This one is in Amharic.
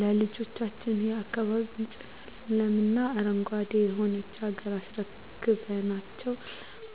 ለልጆችዎ፣ የአካባቢ ንፁህ ለምለም እና አረንጓዴ የሆነች ሀገር አስረክበናቸው